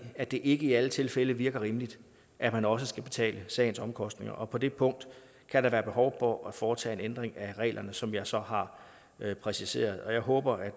at det ikke i alle tilfælde virker rimeligt at man også skal betale sagens omkostninger og på det punkt kan der være behov for at foretage en ændring af reglerne som jeg så har præciseret jeg håber